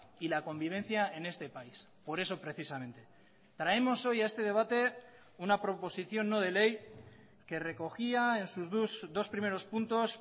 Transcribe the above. y la convivencia en este país por eso precisamente traemos hoy a este debate una proposición no de ley que recogía en sus dos primeros puntos